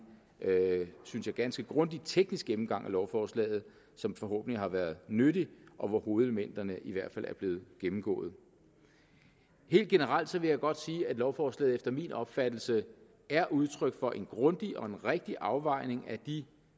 synes jeg ganske grundig teknisk gennemgang af lovforslaget som forhåbentlig har været nyttig og hvor hovedelementerne i hvert fald er blevet gennemgået helt generelt vil jeg godt sige at lovforslaget efter min opfattelse er udtryk for en grundig og rigtig afvejning af de